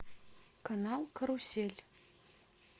канал карусель